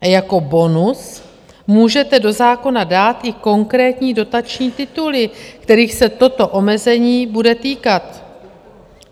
A jako bonus můžete do zákona dát i konkrétní dotační tituly, kterých se toto omezení bude týkat.